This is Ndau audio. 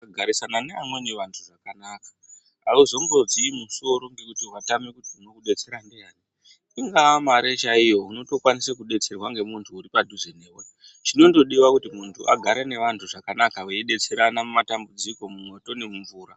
Kugarisana vevamweni vantu kwakanaka. Hauzombozwi musoro ngekuti watame kuti muntu unokudetsera ndiyani. Ingaa mare chaiyo unotokwanisa kudetserwa ngemuntu uripadhuze newe. Chinondodiwa kuti muntu agare nevantu zvakanaka veidetserana mumatambudziko mumwoto ngemumvura.